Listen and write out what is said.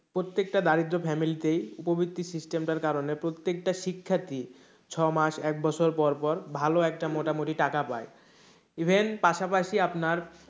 প্রত্যেকটা দারিদ্র family তেই উপবৃত্তি system টার কারণে প্ৰত্যেকটা শিক্ষার্থী ছ মাস একবছর পর পর ভালো একটা মোটামুটি টাকা পাই even পাশাপাশি আপনার